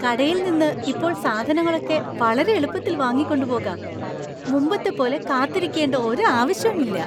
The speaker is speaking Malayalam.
കടയിൽനിന്ന് ഇപ്പോൾ സാധനങ്ങളൊക്കെ വളരെ എളുപ്പത്തിൽ വാങ്ങിക്കൊണ്ട് പോകാം; മുമ്പത്തെ പോലെ കാത്തിരിക്കേണ്ട ഒരു ആവശ്യവും ഇല്ല.